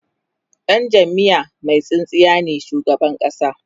Dan jamiya Mai tsintsiya ne shugaban ƙasa